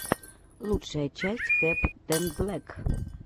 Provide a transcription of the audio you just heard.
лучшая часть кэптэнблэк